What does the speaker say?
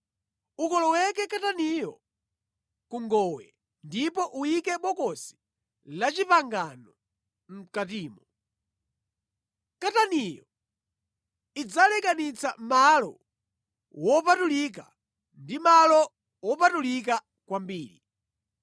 Ukoloweke kataniyo ku ngowe ndipo uyike Bokosi la Chipangano mʼkatimo. Kataniyo idzalekanitse malo wopatulika ndi malo wopatulika kwambiri.